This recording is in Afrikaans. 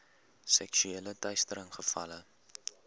seksuele teistering gevalle